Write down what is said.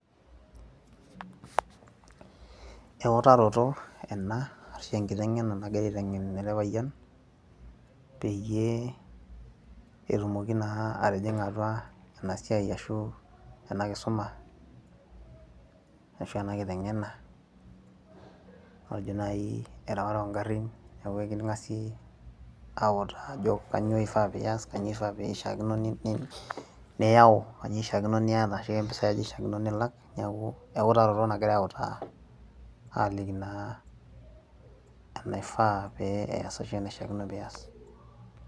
eutaroto ena ashu enkiteng'ena nagirae aiteng'en ele payian peyie etumoki naa atijing'a atua ena siai ashu ena kisuma ashua ena kiteng'ena matejo naaji erewata ongarrin neku eking'asi autaa ajo kanyio ifaa piyas kanyio ifaa pishiakino ni, niyau kanyio ishakino niata ashua kempisai aja ishiakino nilak niaku ewutaroto nagirae autaa aliki naa enaifaa pee eyas ashu enaishiakino piyas.